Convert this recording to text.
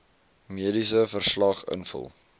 mediese verslag invul